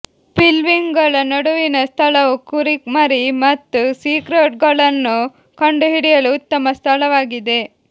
ಪಿಲ್ವಿಂಗ್ಗಳ ನಡುವಿನ ಸ್ಥಳವು ಕುರಿಮರಿ ಮತ್ತು ಸೀಟ್ರೌಟ್ಗಳನ್ನು ಕಂಡುಹಿಡಿಯಲು ಉತ್ತಮ ಸ್ಥಳವಾಗಿದೆ